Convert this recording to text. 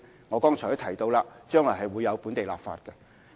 我剛才提到將來會推展本地立法工作。